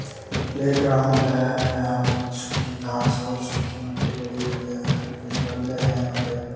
Play ground है। यहां पे सुखी घास है सुखी मट्टी पड़ी हुई है कुछ बंदे हैं यहां पे--